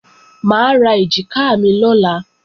Mà á ra èjìká mi lọ́la